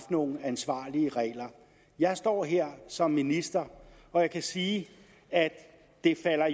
nogle ansvarlige regler jeg står her som minister og jeg kan sige at det